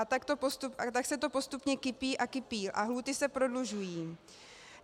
A tak se to postupně kupí a kupí a lhůty se prodlužují.